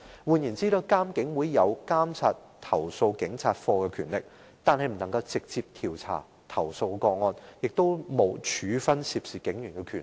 換言之，監警會擁有監察投訴警察課的權力，但卻不能直接調查投訴個案，亦無處分涉事警員的權力。